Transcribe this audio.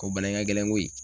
Ko bana in ŋa gɛlɛn koyi.